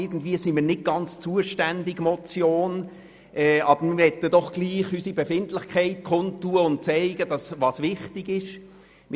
Irgendwie sind wir nicht ganz zuständig für das Anliegen dieser Motion, aber wir möchten dennoch unsere Befindlichkeit kundtun und zeigen, dass es uns wichtig ist.